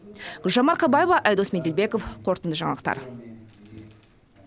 гүлжан марқабаева айдос меделбеков қорытынды жаңалықтар